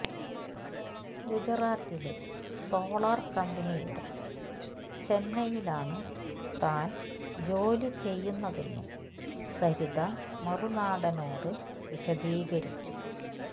ഗുജറാത്തിലെ സോളാർ കമ്പിനിയുടെ ചെന്നൈയിലാണ് താൻ ജോലി ചെയ്യുന്നതെന്നും സരിത മറുനാടനോട് വിശദീകരിച്ചു